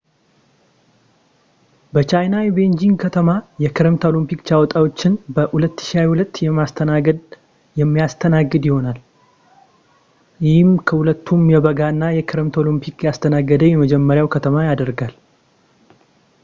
በቻይና የቤዢንግ ከተማ የክረምት ኦሎምፒክ ጨዋታዎችን በ2022 የሚያስተናግድ የሚያስተናግድ ይሆናል ይህም ሁለቱንም የበጋና የክረምት ኦሎምፒክ ያስተናገደ የመጀመሪያው ከተማ ያደርገዋል